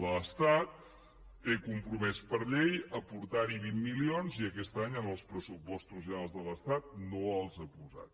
l’estat té compromès per llei aportar hi vint milions i aquest any en els pressupostos generals de l’estat no els ha posat